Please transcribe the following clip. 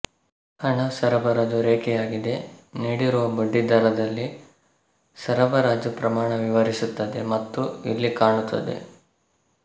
ಹಣ ಸರಬರಾಜು ರೇಖೆಯಾಗಿದೆ ನೀಡಿರುವ ಬಡ್ಡಿದರದಲ್ಲಿ ಸರಬರಾಜು ಪ್ರಮಾಣ ವಿವರಿಸುತ್ತದೆ ಮತ್ತು ಇಲ್ಲಿ ಕಾಣುತ್ತದೆ